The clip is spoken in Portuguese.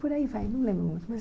Por aí vai, não lembro muito mais.